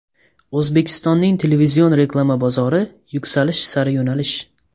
O‘zbekistonning televizion reklama bozori: Yuksalish sari yo‘nalish.